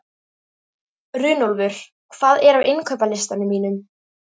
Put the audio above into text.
Runólfur, hvað er á innkaupalistanum mínum?